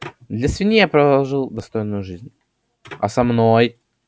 для свиньи я прожил достойную жизнь